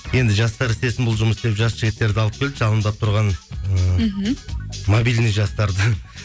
енді жастар істесін бұл жұмысты деп жас жігіттерді алып келді жалындап тұрған ыыы мхм мобильный жастарды